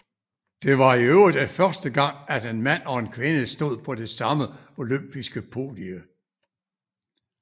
Det var i øvrigt første gang at en mand og en kvinde stod på det samme olympiske podie